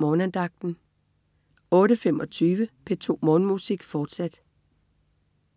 Morgenandagten 08.25 P2 Morgenmusik, fortsat